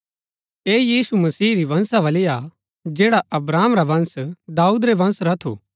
ऐह यीशु मसीह री वंशावली हा जैड़ा अब्राहम रा वंश दाऊद रै वंश रा थू